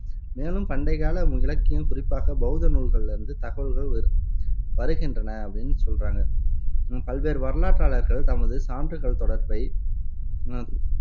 மேலும், பண்டைக்கால இலக்கியம் குறிப்பாக பௌத்த நூல்களிலிருந்து தகவல்கள் வ வருகின்றன அப்படின்னு சொல்றாங்க பல்வேறு வரலாற்றாளர்கள் தமது சான்றுகள் தொடர்பை உம்